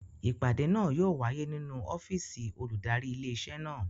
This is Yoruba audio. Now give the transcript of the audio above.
Ìpàdé náà yóò wáyé nínú ọ́fìsì olùdarí ilé iṣẹ́ náà